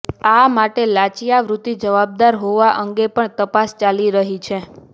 આ માટે લાંચિયા વૃત્તિ જવાબદાર હોવા અંગે પણ તપાસ ચાલી રહી છે